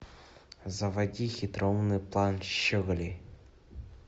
заводи хитроумный план щеголей